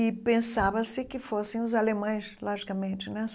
E pensava-se que fossem os alemães, logicamente, né?